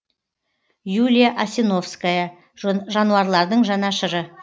юлия асиновская жануарлардың жанашыры